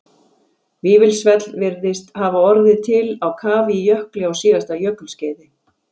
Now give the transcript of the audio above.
Vífilsfell virðist hafa orðið til á kafi í jökli á síðasta jökulskeiði.